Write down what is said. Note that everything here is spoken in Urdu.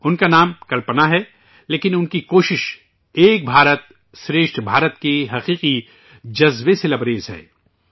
ان کا نام کلپنا ہے، لیکن ان کی کوشش، ' ایک بھارت شریسٹھ بھارت' کے حقیقی جذبے سےمعمور ہے